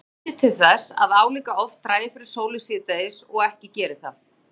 Þetta bendir til þess að álíka oft dragi fyrir sólu síðdegis og ekki geri það.